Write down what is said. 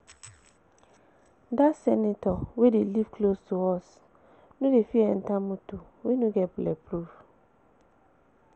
That senator wey dey live close to us no dey fit enter motor wey no get bulletproof